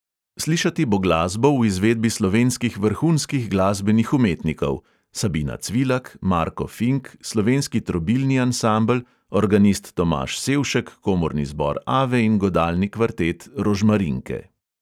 Slišati bo glasbo v izvedbi slovenskih vrhunskih glasbenih umetnikov (sabina cvilak, marko fink, slovenski trobilni ansambel, organist tomaž sevšek, komorni zbor ave in godalni kvartet rožmarinke).